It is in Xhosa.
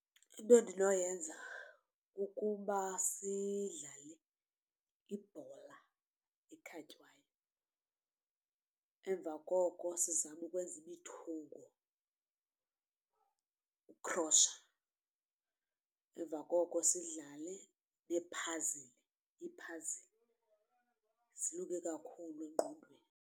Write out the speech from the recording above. Into endinoyenza kukuba sidlale ibhola ekhatywayo. Emva koko sizame ukwenza imithungo, ukukhrotsha emva koko sidlale ngee-puzzle. ii-puzzle zilunge kakhulu engqondweni.